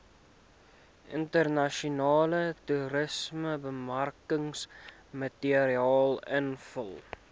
internasionale toerismebemarkingsmateriaal invul